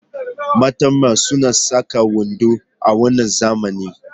Mata ma suna saka wando a wannan zamani.